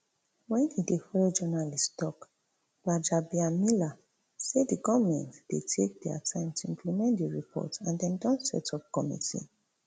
wen e dey follow journalists tok gbajabiamila say di goment dey take dia time to implement di report and dem don setup committee